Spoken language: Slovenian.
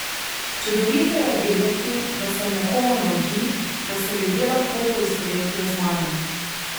Čudovito je vedeti, da sem nekomu navdih, da se ljudje lahko poistovetijo z mano.